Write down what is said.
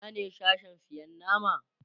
Ina ne Sashen sayan nama?